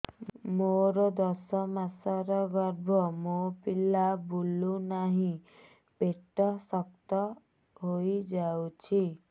ମୋର ଦଶ ମାସର ଗର୍ଭ ମୋ ପିଲା ବୁଲୁ ନାହିଁ ପେଟ ଶକ୍ତ ହେଇଯାଉଛି